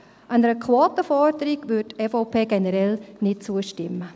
Einer Quotenforderung würde die EVP generell nicht zustimmen.